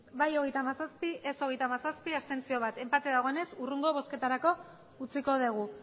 bai hogeita hamazazpi ez hogeita hamazazpi abstentzioak bat enpate dagoenez hurrengo bozketarako utziko dugu